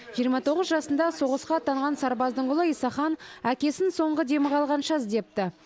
жиырма тоғыз жасында соғысқа аттанған сарбаздың ұлы исахан әкесін соңғы демі қалғанша іздепті